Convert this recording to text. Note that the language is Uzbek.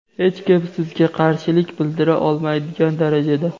hech kim sizga qarshilik bildira olmaydigan darajada.